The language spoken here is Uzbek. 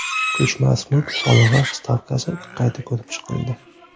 Ko‘chmas mulk solig‘i stavkasi qayta ko‘rib chiqildi.